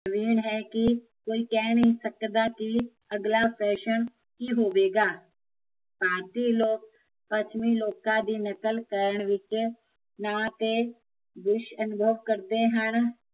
ਹੈ ਕੀ ਕੋਈ ਕਹਿ ਨਹੀਂ ਸਕਦਾ ਕੀ ਅਗਲਾ ਫੈਸ਼ਨ ਕੀ ਹੋਵੇਗਾ ਭਾਰਤੀ ਲੋਕ, ਪੱਛਮੀ ਲੋਕਾਂ ਦੀ ਨਕਲ ਕਰਨ ਵਿੱਚ ਨਾ ਕਿ ਕਰਦੇ ਹਨ